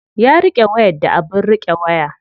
Ya riƙe wayar da abin riƙe waya.